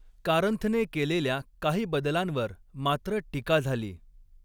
कारंथने केलेल्या काही बदलांवर मात्र टीका झाली.